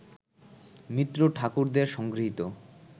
মিত্র-ঠাকুরদের সংগৃহীত